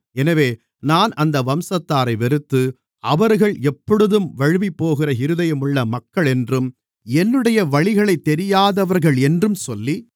எனவே நான் அந்த வம்சத்தாரை வெறுத்து அவர்கள் எப்பொழுதும் வழுவிப்போகிற இருதயமுள்ள மக்களென்றும் என்னுடைய வழிகளைத் தெரியாதவர்களென்றும் சொல்லி